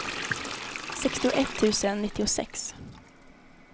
sextioett tusen nittiosex